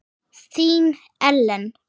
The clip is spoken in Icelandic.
Þín, Ellen.